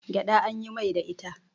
gyaɗa an yin Mai da ita